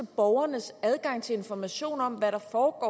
borgernes adgang til informationer om hvad der foregår